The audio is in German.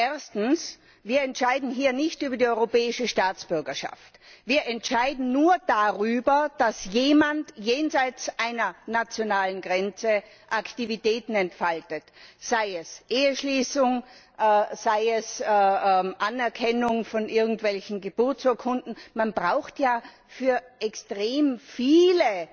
Erstens Wir entscheiden hier nicht über die europäische Staatsbürgerschaft, wir entscheiden nur darüber, dass jemand jenseits einer nationalen Grenze Aktivitäten entfaltet, sei es Eheschließung, sei es Anerkennung von irgendwelchen Geburtsurkunden. Man braucht ja für extrem viele